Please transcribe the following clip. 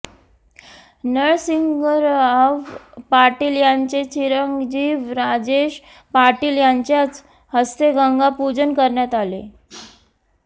नरसिंगराव पाटील यांचे चिरंजीव राजेश पाटील यांच्याच हस्ते गंगापूजन करण्यात आले